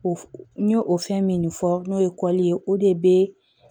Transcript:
O f n y'o fɛn min fɔ n'o ye kɔli ye o de be